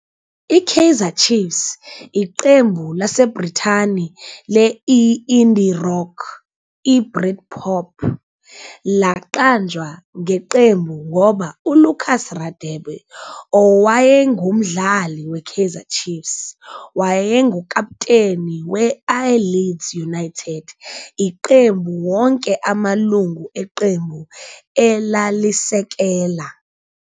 I-Kaiser Chiefs, iqembu laseBrithani le-i-indie rock, I-britpop, laqanjwa ngeqembu ngoba ULucas Radebe, owayengumdlali we-Kaizer Chiefs, wayengukaputeni we-I-Leeds United, iqembu wonke amalungu eqembu elalisekela.